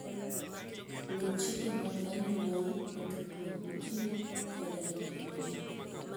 Luw chike mag anyuolau e tudruok gi ji koda e kind ji.